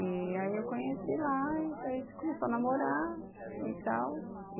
E aí eu conheci lá, então a gente começou a namorar e tal.